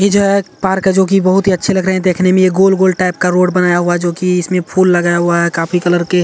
इ जो है एक पार्क है जो की बहुत ही अच्छे लग रहे हैं देखने मे | यह गोल गोल टाइप का रोड बनाया हुआ है जो की इसमे फूल लगाया हुआ काफी कलर के--